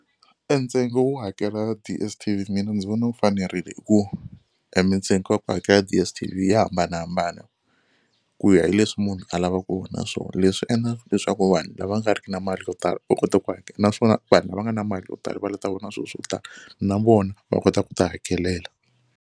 E ntsengo wo hakela DSTV mina ndzi vona wu fanerile hi ku e mintsengo ya ku hakela DSTV ya hambanahambana ku ya hi leswi munhu a lava ku vona swona. Leswi endla leswaku vanhu lava nga riki na mali yo tala u kota ku hakela naswona vanhu lava nga na mali yo tala va la ta vona swilo swo tala na vona va kota ku ti hakelela.